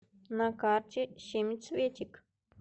на карте семицветик